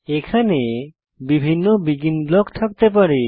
এখানে বিভিন্ন begin block থাকতে পারে